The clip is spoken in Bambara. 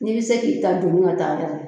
N'i bɛ se k'i ta doni ka taa yɛrɛ